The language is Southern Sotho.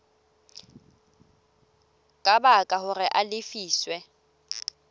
ka baka hore a lefiswe